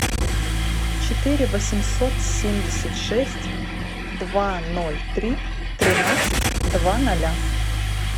четыре восемьсот семьдесят шесть два ноль три тринадцать два ноля